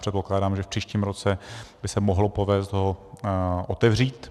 Předpokládám, že v příštím roce by se mohlo povést ho otevřít.